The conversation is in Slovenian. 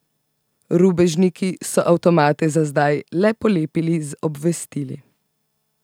Rubežniki so avtomate za zdaj le polepili z obvestili.